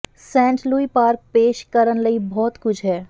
Saint Louis Park ਪੇਸ਼ ਕਰਨ ਲਈ ਬਹੁਤ ਕੁਝ ਹੈ